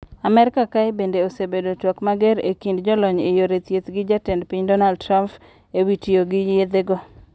Amerka kae bende osebedo twak mager e kind jolony e yore thieth gi jatend piny Donald Trump ewi tiyo gi yethego.